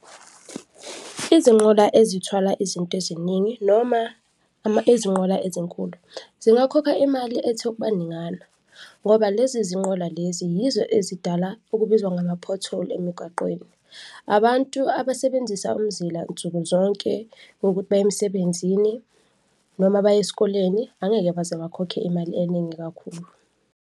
Izinqola ezithwala izinto eziningi noma izinqola ezinkulu zingakhokha imali ethe ukuba ningana ngoba lezi zinqola lezi yizo ezidala okubizwa ngama-pothole emigaqweni. Abantu abasebenzisa umzila nsukuzonke ngokuthi baye emsebenzini noma baye esikoleni angeke baze bakhokhe imali eningi kakhulu.